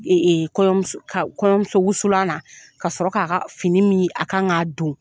Kɔɲɔmusowusulan na ka sɔrɔ k'a ka fini min a kan k'a don